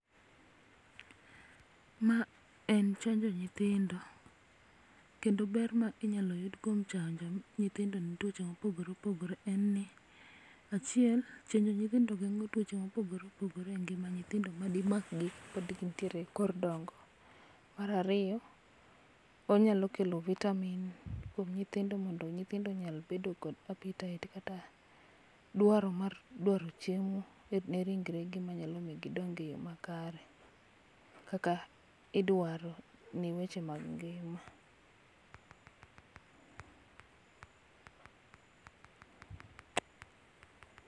Ma en chenjo nyithindo kendo ber ma inyalo yud kuom chanjo nyithindo e tuoche mopogore opogore en ni ,achiel chenjo nyithindo gengo tuoche mopogore opogore madimak gi kapod gintiere e ekor dongo. Mar ariyo onyalo kelo vitamin kuom nyithindo mondo nyithindo onyal bedo kod appetite kata dwaro mar dwaro chiemo ne ringre gi manyalo miyo giong e yoo makare kaka idwaro ne weche mag ngima.